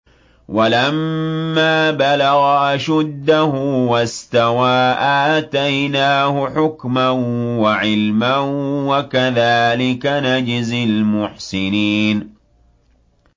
وَلَمَّا بَلَغَ أَشُدَّهُ وَاسْتَوَىٰ آتَيْنَاهُ حُكْمًا وَعِلْمًا ۚ وَكَذَٰلِكَ نَجْزِي الْمُحْسِنِينَ